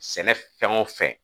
Sɛnɛ fɛn wo fɛn.